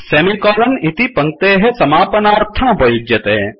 semi colon इति पङ्क्तेः समापनार्थमुपयुज्यते